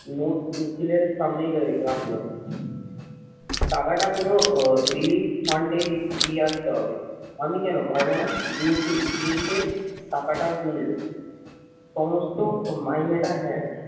মিছিলের সামনেই দাঁড়িয়ে রাখলো টাকাটা কোন relief fund এ দিয়ে আসতে হবে। আমি কেন পারবো না নিখিল ধীরে ধীরে টাকাটাও গুনলো। সমস্ত মাইনেটা হ্যায়